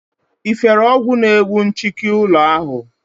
Ị fere ọgwụ na-egbu nchịki ụlọ ahụ?